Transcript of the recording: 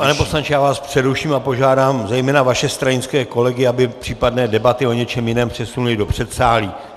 Pane poslanče, já vás přeruším a požádám zejména vaše stranické kolegy, aby případné debaty o něčem jiném přesunuli do předsálí.